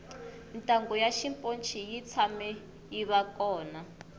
ntanghu ya xiponci yi tshame yiva kona